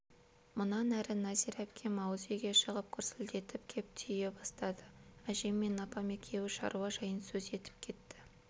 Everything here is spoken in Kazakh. мұнан әрі нәзира әпкем ауыз үйге шығып гүрсілдетіп кеп түйе бастады әжем мен апам екеуі шаруа жайын сөз етіп кетті